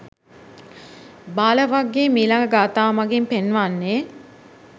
බාල වග්ගයේ මීළඟ ගාථාව මඟින් පෙන්වන්නේ,